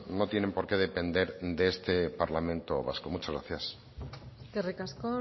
no tienen por qué depender de este parlamento vasco muchas gracias eskerrik asko